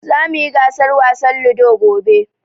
Zamu yi gasar wasan Ludo gobe.